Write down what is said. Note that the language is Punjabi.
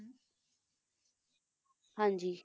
ਹਾਂਜੀ